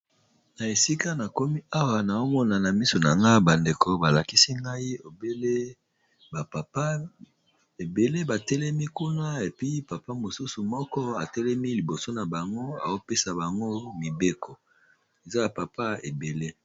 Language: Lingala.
Na esika na komi awa naomonana miso na nga bandeko balakisi ngai lbapapa ebele batelemi kuna epi papa mosusu moko atelemi liboso na bango eopesa bango mibeko eza ya papa ebele.